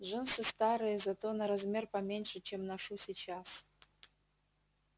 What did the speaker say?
джинсы старые зато на размер поменьше чем ношу сейчас